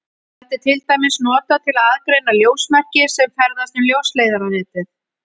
Þetta er til dæmis notað til að aðgreina ljósmerki sem ferðast um ljósleiðaranetið.